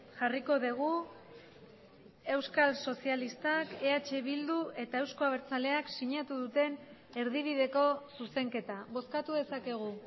jarriko dugu euskal sozialistak eh bildu eta euzko abertzaleak sinatu duten erdibideko zuzenketa bozkatu dezakegu